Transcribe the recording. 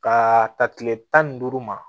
Ka ta kile tan ni duuru ma